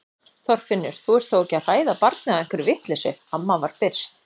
Þorfinnur, þú ert þó ekki að hræða barnið á einhverri vitleysu amma var byrst.